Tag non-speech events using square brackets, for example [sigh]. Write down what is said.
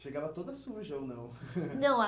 Chegava toda suja ou não? [laughs] Não, ah